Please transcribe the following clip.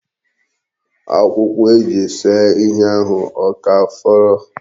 Akwụkwọ e ji see ihe ahụ ọ ka fọrọ?